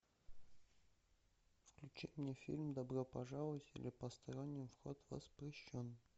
включи мне фильм добро пожаловать или посторонним вход воспрещен